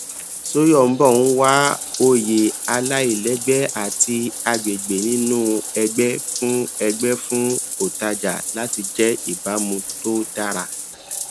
soyombo n wá òye aláìlẹgbẹ àti agbègbè nínú ẹgbẹ fún ẹgbẹ fún ọtajà láti jẹ ìbámu tó dára